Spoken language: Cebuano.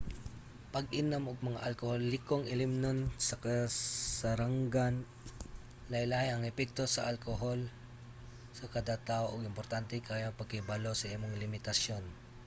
pag-inom og mga alkoholikong ilimnon sa kasarangan. lahi-lahi ang epekto sa alkohol sa kada tawo ug importante kaayo ang pagkahibalo sa imong limitasyon